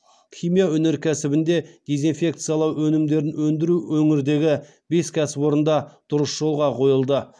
химия өнеркәсібінде дезинфекциялау өнімдерін өндіру өңірдегі бес кәсіпорында дұрыс жолға қойылды